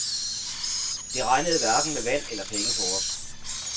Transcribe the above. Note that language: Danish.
Det regnede hverken med vand eller penge på os.